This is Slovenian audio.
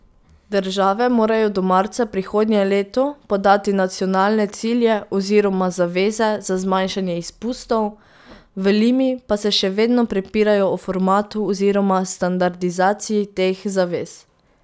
Države morajo do marca prihodnje leto podati nacionalne cilje oziroma zaveze za zmanjšanje izpustov, v Limi pa se še vedno prepirajo o formatu oziroma standardizaciji teh zavez.